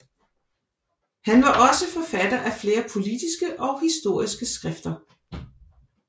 Han var også forfatter af flere politiske og historiske skrifter